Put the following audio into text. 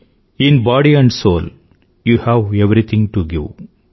in body and soul you have everything to give